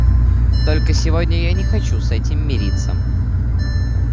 только сегодня я не хочу с этим мириться